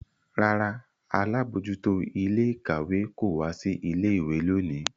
Rárá, alabojuto ile-ikawe ko wa si ile-iwe loni.